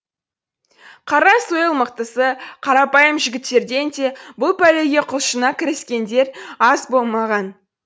қара сойыл мықтысы қарапайым жігіттерден де бұл пәлеге құлшына кіріскендер аз болмаған